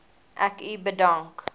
ek u bedank